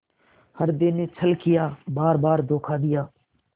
हृदय ने छल किया बारबार धोखा दिया